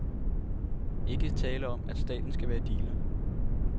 Ikke tale om at staten skal være dealer.